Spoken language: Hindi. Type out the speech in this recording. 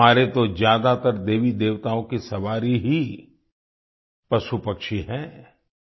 हमारे तो ज्यादातर देवीदेवताओं की सवारी ही पशुपक्षीहैं